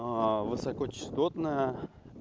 высокочастотная